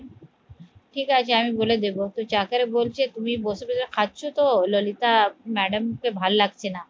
ঠিক আছে আমি বলে দেবো তো চাকরে বলছে তুমি বসে বসে খাচ্ছ তো ললিতা ম্যাডাম কে ভাল লাগছে না